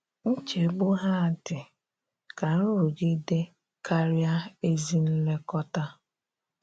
Nchegbu ha dị ka nrụgide karịa ezi nlekọta.